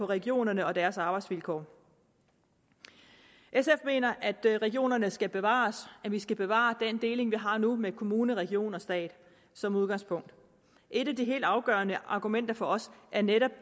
regionerne og deres arbejdsvilkår sf mener at regionerne skal bevares at vi skal bevare den deling vi har nu med kommune region og stat som udgangspunkt et af de helt afgørende argumenter for os er netop